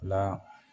La